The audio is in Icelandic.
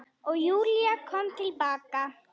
Og Júlía kom til baka.